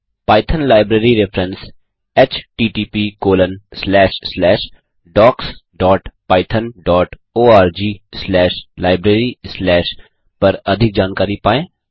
Python library reference httpdocspythonorglibrary पर अधिक जाकारी पायें